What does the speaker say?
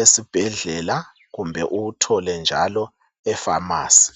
esibhedlela kumbe uwuthole njalo e phamarcy